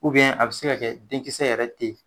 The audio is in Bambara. a bɛ se ka kɛ denkisɛ yɛrɛ t'yen.